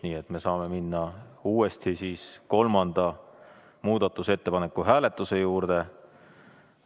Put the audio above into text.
Nii et me saame minna uuesti kolmanda muudatusettepaneku hääletuse juurde.